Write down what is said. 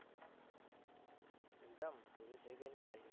exam પૂરી થઇ ગઈ ને ભાઈ